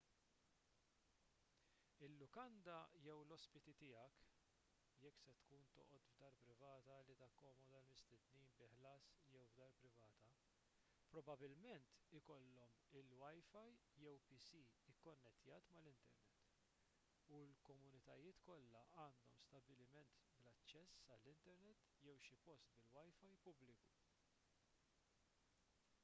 il-lukanda jew l-ospiti tiegħek jekk se tkun toqgħod f'dar privata li takkomoda l-mistednin bi ħlas jew f'dar privata probabbilment ikollhom il-wifi jew pc ikkonnettjat mal-internet u l-komunitajiet kollha għandhom stabbiliment bl-aċċess għall-internet jew xi post bil-wifi pubbliku